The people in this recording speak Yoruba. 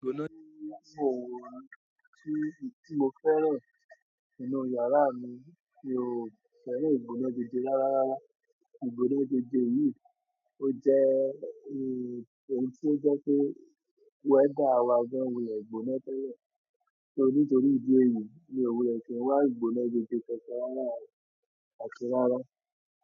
Ìgbóná ti mò n--, tí mo fẹ́ràn nínú yàrá mi, mi ò fẹ́ràn ìgbóná jeje rárá. Ìgbóná jeje yìí, ó jẹ́ ohun tí ó jẹ́ pé weather wa gan wule gbóná tẹ́lẹ̀. Nítorí ìdí èyí ni emi o kí n wa ìgbóná jeje kankan rárá, àti rárá.